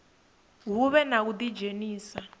hu vhe na u ḓidzhenisa